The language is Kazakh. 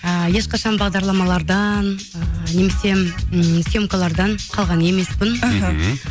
ыыы ешқашан бағдарламалардан ы немесе м съемкалардан қалған емеспін іхі